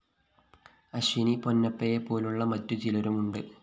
അശ്വിനി പൊന്നപ്പയെ പോലുള്ള മറ്റു ചിലരുമുണ്ട്